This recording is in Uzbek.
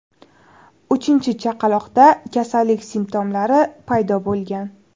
Uchinchi chaqaloqda kasallik simptomlari paydo bo‘lgan.